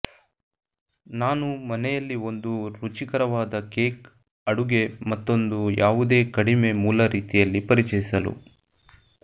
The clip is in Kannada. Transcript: ನಾನು ಮನೆಯಲ್ಲಿ ಒಂದು ರುಚಿಕರವಾದ ಕೇಕ್ ಅಡುಗೆ ಮತ್ತೊಂದು ಯಾವುದೇ ಕಡಿಮೆ ಮೂಲ ರೀತಿಯಲ್ಲಿ ಪರಿಚಯಿಸಲು